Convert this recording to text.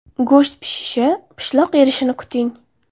Go‘sht pishishi, pishloq erishini kuting.